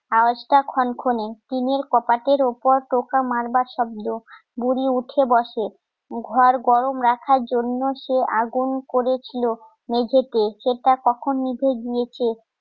আওয়াজটা খনখনে চিনির কপাটের ওপর টোকা মারবার শব্দ বুড়ি উঠে বসে ঘর গরম রাখার জন্য সে আগুন করেছিল মেঝেতে সেটা কখন নিভে দিয়েছে